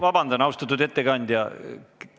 Vabandust, austatud ettekandja!